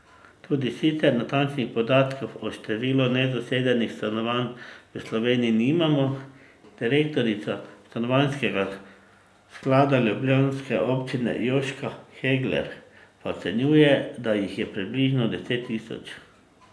Tudi sicer natančnih podatkov o številu nezasedenih stanovanj v Sloveniji nimamo, direktorica stanovanjskega sklada ljubljanske občine Jožka Hegler pa ocenjuje, da jih je približno deset tisoč.